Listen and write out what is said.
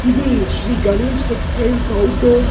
இது Shri Ganesh textiles outdoor .